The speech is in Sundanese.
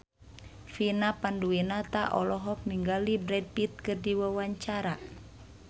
Vina Panduwinata olohok ningali Brad Pitt keur diwawancara